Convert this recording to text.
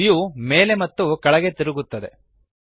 view ಮೇಲೆ ಮತ್ತು ಕೆಳಗೆ ತಿರುಗುತ್ತದೆ